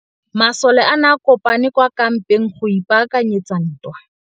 Masole a ne a kopane kwa kampeng go ipaakanyetsa ntwa.